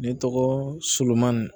Ne tɔgɔ solomani